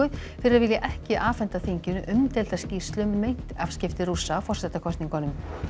fyrir að vilja ekki afhenda þinginu umdeilda skýrslu um meint afskipti Rússa af forsetakosningunum